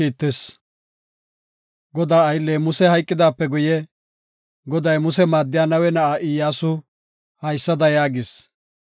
Godaa aylley Musey hayqidaape guye, Goday Muse maaddiya Nawe na7aa Iyyasu, haysada yaagis.